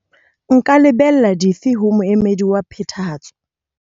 Nka lebella dife ho moemedi wa Phethahatso?